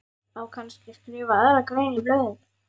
Á kannski að skrifa aðra grein í blöðin?